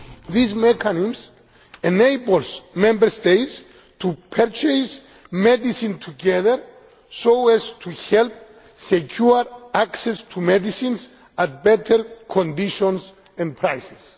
This mechanism enables Member States to purchase medicines together so as to help secure access to medicines at better conditions and prices.